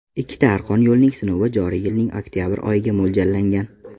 Ikkita arqon yo‘lning sinovi joriy yilning oktabr oyiga mo‘ljallangan.